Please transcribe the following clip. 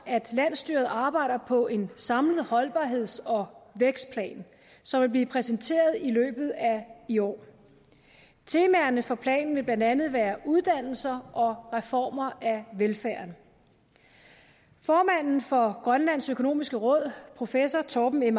landsstyret arbejder på en samlet holdbarheds og vækstplan som vil blive præsenteret i løbet af i år temaerne for planen vil blandt andet være uddannelser og reformer af velfærden formanden for grønlands økonomiske råd professor torben m